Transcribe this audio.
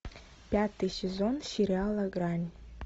пятый сезон сериала грань